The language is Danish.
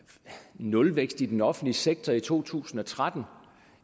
nulvækst i den offentlige sektor i to tusind og tretten